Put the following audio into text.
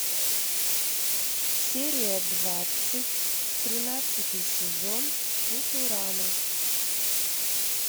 серия двадцать тринадцатый сезон футурама